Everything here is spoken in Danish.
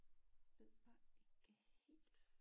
Ved jeg ikke helt